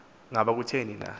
ngaba kutheni na